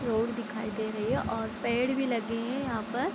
Road दिखाई दे रही है और पेड़ भी लगे हैं यहाँ पर।